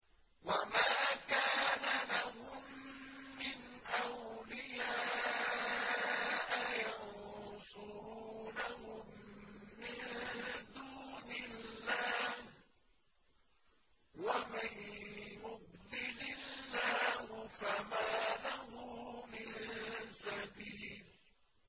وَمَا كَانَ لَهُم مِّنْ أَوْلِيَاءَ يَنصُرُونَهُم مِّن دُونِ اللَّهِ ۗ وَمَن يُضْلِلِ اللَّهُ فَمَا لَهُ مِن سَبِيلٍ